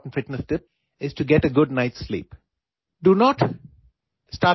میرے لیے بہترین فٹنس ٹِپ، بالکل سب سے اہم فٹنس ٹِپ رات کو اچھی نیند لینا ہے